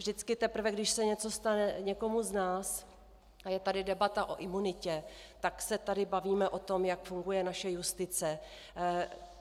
Vždycky teprve, když se něco stane někomu z nás a je tady debata o imunitě, tak se tady bavíme o tom, jak funguje naše justice.